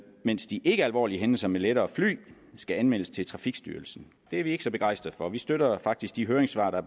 mens de ikkealvorlige hændelser med lettere fly skal anmeldes til trafikstyrelsen det er vi ikke så begejstrede for vi støtter faktisk de høringssvar der